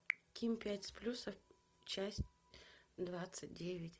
ким пять с плюсом часть двадцать девять